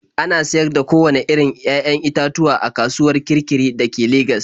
Ana sayar da kowanne irin 'ya'yan itatuwa a kasuwar Kirkiri da ke Legas.